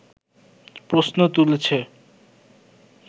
প্রশ্ন তুলেছে